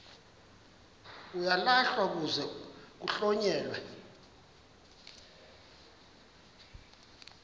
uyalahlwa kuze kuhlonyelwe